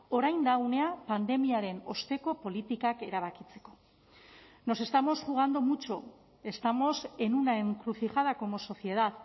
orain da unea pandemiaren osteko politikak erabakitzeko nos estamos jugando mucho estamos en una encrucijada como sociedad